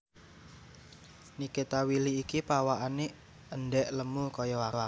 Nikita Willy iki pawakane endhek lemu koyok aku